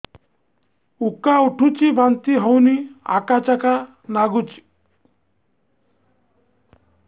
ଉକା ଉଠୁଚି ବାନ୍ତି ହଉନି ଆକାଚାକା ନାଗୁଚି